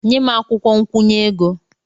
Nye m akwụkwọ nkwụnye ego!